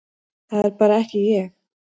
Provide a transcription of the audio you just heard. Það er bara ekki ég,